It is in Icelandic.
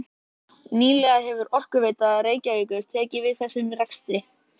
Sigurður Stefánsson, síðar prestur á Möðruvöllum og vígslubiskup.